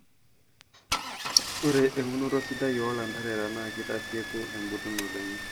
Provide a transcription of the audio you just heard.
Ore eunoto sidai oo lanterera naa keitasieku embulunot enyee.